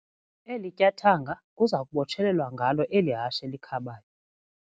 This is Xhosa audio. Eli tyathanga kuza kubotshelelwa ngalo eli hashe likhabayo.